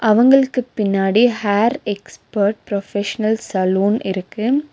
அவங்களுக்கு பின்னாடி hair expert professional salon இருக்கு.